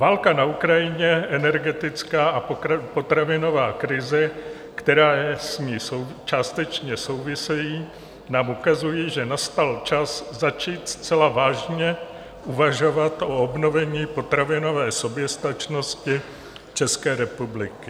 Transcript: Válka na Ukrajině, energetická a potravinová krize, které s ní částečně souvisejí, nám ukazuje, že nastal čas začít zcela vážně uvažovat o obnovení potravinové soběstačnosti České republiky.